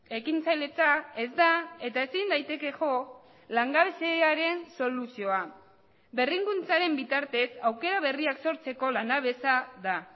ekintzailetza ez da eta ezin daiteke jo langabeziaren soluzioa berrikuntzaren bitartez aukera berriak sortzeko lanabesa da